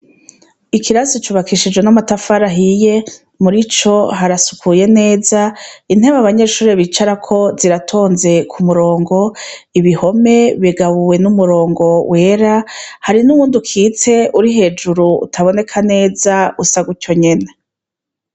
Ikirasi cubakishije n'amatafari ahiye, murico harasukuye neza, intebe abanyeshuri bisharako ziratonze kumurongo, ibihome bigabuwe n'umurongo wera, hari n'uwundi ukitse uri hejuru utaboneka neza usa gutyo nyene.